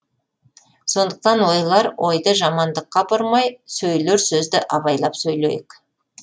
сондықтан ойлар ойды жамандыққа бұрмай сөйлер сөзді абайлап сөйлейік